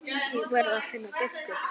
Ég verð að finna biskup!